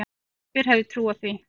Hver hefði trúað því?